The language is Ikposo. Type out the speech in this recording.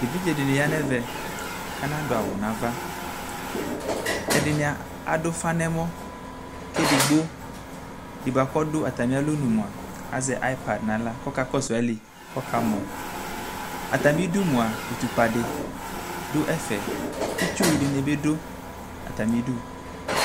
ɛvidzɛ dini yanʋ ɛɣɛ kʋ anadʋ awʋ nʋ aɣa, ɛdi adʋ ʋƒa nʋ ɛmɔ kʋ ɛdigbɔ di kʋ ɔdʋ atami alɔnʋ mʋa azɛ iPad nʋ ala kʋ ɔka kɔsʋ ali kʋ ɔka mɔ, atami idʋ mʋa ʋtʋkpa di dʋ ɛƒɛ, itsʋ dini bidʋ atami idʋ